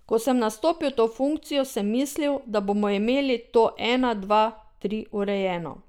Ko sem nastopil to funkcijo, sem mislil, da bomo imeli to ena dva tri urejeno.